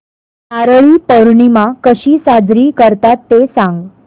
नारळी पौर्णिमा कशी साजरी करतात ते सांग